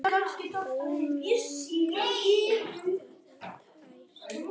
Ómengað er það tært.